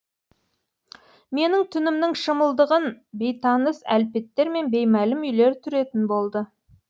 менің түнімнің шымылдығын бейтаныс әлпеттер мен беймәлім үйлер түретін болды